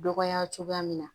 Dɔgɔya cogoya min na